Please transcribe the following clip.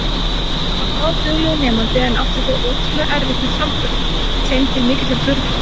Hann var bráðduglegur nemandi en átti þó ótrúlega erfitt með framburðinn, þeim til mikillar furðu.